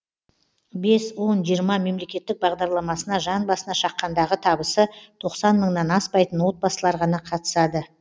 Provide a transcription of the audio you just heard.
бес он жиырма мемлекеттік бағдарламасына жан басына шаққандағы табысы тоқсан мыңнан аспайтын отбасылар ғана қатысады